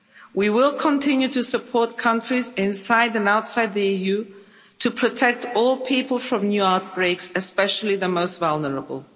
We will continue to support countries inside and outside the EU to protect all people from new outbreaks, especially the most vulnerable.